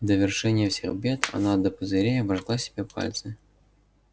в довершение всех бед она до пузырей обожгла себе пальцы